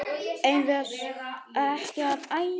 Eigum við ekki að æja?